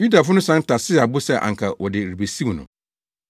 Yudafo no san tasee abo sɛ anka wɔde rebesiw no.